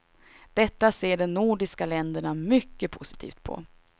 Detta ser de nordiska länderna mycket positivt på.